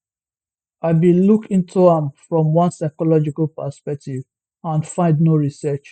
i bin look into am from one psychological perspective and find no research